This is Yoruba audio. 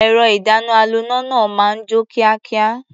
Ẹ̀rọ-ìdáná-aloná náà máa ń jó kíákíá.